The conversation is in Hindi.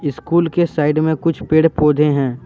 स्कूल के साइड में कुछ पेड़ पौधे हैं।